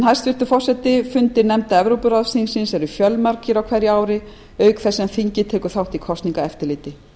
hæstvirtur forseti fundir nefnda evrópuráðsþingsins eru fjölmargir á hverju ári auk þess sem þingið tekur þátt í kosningaeftirliti